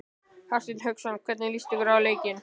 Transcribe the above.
Hafsteinn Hauksson: Hvernig líst ykkur á leikinn?